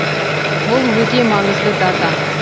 бұл өте маңызды дата